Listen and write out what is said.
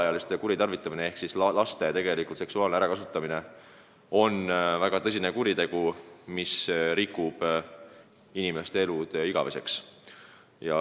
Alaealiste kuritarvitamine ehk siis laste tegelik seksuaalne ärakasutamine on väga tõsine kuritegu, mis rikub inimeste elu igaveseks.